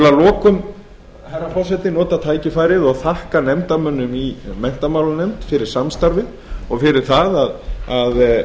lokum herra forseti nota tækifærið og þakka nefndarmönnum í menntamálanefnd fyrir samstarfið og fyrir það að